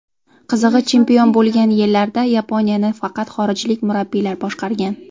Qizig‘i, chempion bo‘lgan yillarda Yaponiyani faqat xorijlik murabbiylar boshqargan .